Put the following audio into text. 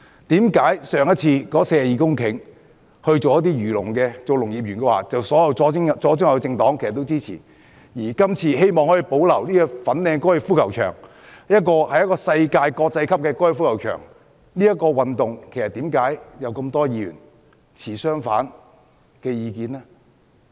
為何上次那42公頃的土地用作漁農業，發展農業園，所有左、中、右政黨也支持；而這次希望可以保留粉嶺高爾夫球場——一個國際級的高爾夫球場，卻又會有那麼多議員持相反意見呢？